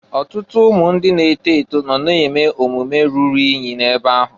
Ọtụtụ ụmụ na-eto eto nọ na-eme omume rụrụ inyi ebe ahụ.